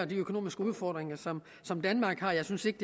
de økonomiske udfordringer som som danmark har jeg synes ikke